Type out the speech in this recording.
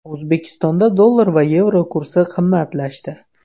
O‘zbekistonda dollar va yevro kursi qimmatlashdi.